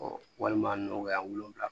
walima nɔgɔya wolonwula